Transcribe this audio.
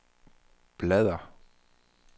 bladr